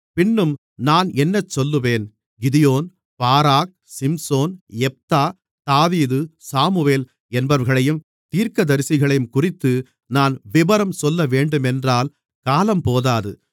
பின்னும் நான் என்ன சொல்லுவேன் கிதியோன் பாராக் சிம்சோன் யெப்தா தாவீது சாமுவேல் என்பவர்களையும் தீர்க்கதரிசிகளையும்குறித்து நான் விபரம் சொல்லவேண்டுமென்றால் காலம்போதாது